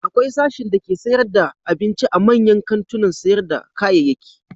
Akwai sashin dake sayar da abinci a manyan kantunan sayar da kayayyaki.